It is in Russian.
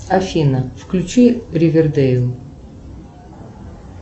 афина включи ривердейл